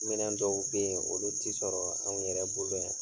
Minɛn dɔw be ye olu ti sɔrɔ anw yɛrɛ bolo yan.